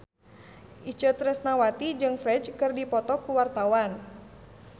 Itje Tresnawati jeung Ferdge keur dipoto ku wartawan